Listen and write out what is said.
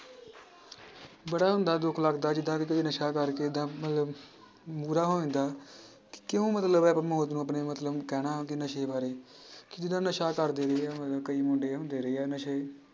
ਬੜਾ ਹੁੰਦਾ ਦੁੱਖ ਲੱਗਦਾ ਜਿੱਦਾਂ ਨਸ਼ਾ ਕਰਕੇ ਤਾਂ ਮਤਲਬ ਹੋ ਜਾਂਦਾ ਕਿਉਂ ਮਤਲਬ ਆਪਾਂ ਮੌਤ ਨੂੰ ਆਪਣੇ ਮਤਲਬ ਕਹਿਣਾ ਕਿ ਨਸ਼ੇ ਬਾਰੇ, ਕਿਹਦਾ ਨਸ਼ਾ ਕਰਦੇ ਰਹੇ ਆ ਮਤਲਬ ਕਈ ਮੁੰਡੇ ਹੁੰਦੇ ਰਹੇ ਆ ਨਸ਼ੇ,